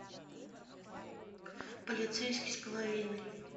полицейский с половиной